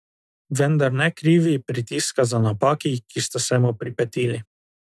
Vendar ne krivi pritiska za napaki, ki sta se mu pripetili.